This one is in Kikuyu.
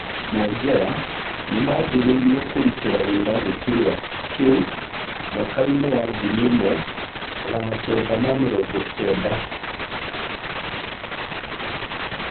Mwongera nĩmanjĩrĩirĩe kũrutĩra wĩra gĩturwa kĩu mwakai-nĩ wa ngiri ĩmwe magana Kenda ma mĩrongo Kenda.